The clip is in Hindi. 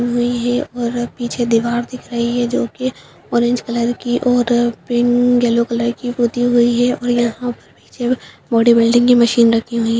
हुयी हैं और पीछे दीवार दिख रही है जो की ऑरेंज कलर की और पिंक येलो कलर की पुती हुई है और यहां पर पीछे ब बॉडीबिल्डिंग की मशीन रखीं हुई --